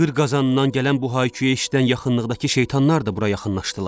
Qır qazandan gələn bu hay-küyü eşidən yaxınlıqdakı şeytanlar da bura yaxınlaşdılar.